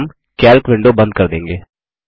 और हम calc window बंद कर देंगे